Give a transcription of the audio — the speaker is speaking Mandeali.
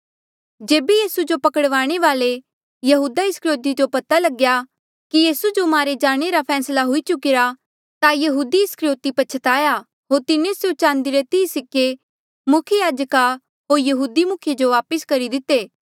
जेबे यीसू जो पकड़वाणे वाल्ऐ यहूदा इस्करयोति जो पता लगया कि यीसू जो मारे जाणे रा फैसला हुई चुकिरा ता यहूदा इस्करयोति पछताया होर तिन्हें स्यों चांदी रे तीह सिक्के मुख्य याजका होर यहूदी मुखिये जो वापस करी दिते